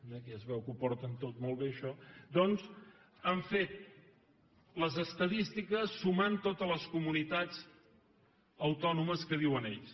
aquí es veu que ho porten tot molt bé això doncs han fet les estadístiques sumant totes les comunitats autònomes que diuen ells